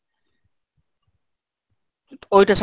ওইটা